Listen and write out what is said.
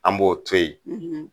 An b'o to yen